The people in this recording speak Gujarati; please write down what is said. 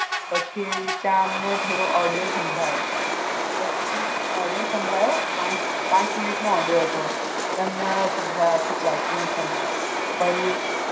પછી ત્યાં અમને થોડો ઓડિયો સંભળાયો, પછી ઓડિયો સંભળાયો પાંચ મિનિટ નો ઓડિયો હતો તે અમને સંભળાયો આખી ક્લાસ ને સંભળાયો